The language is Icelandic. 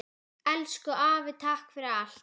Elsku afi, takk fyrir allt.